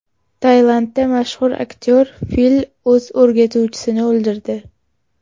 Tailandda mashhur aktyor fil o‘z o‘rgatuvchisini o‘ldirdi.